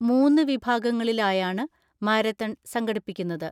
മൂന്നുവിഭാഗങ്ങളിലായാണ് marathon സംഘടിപ്പിക്കുന്നത്.